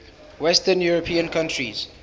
western european countries